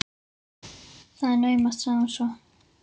Það er naumast- sagði hún svo.